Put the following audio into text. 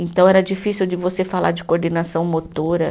Então, era difícil de você falar de coordenação motora.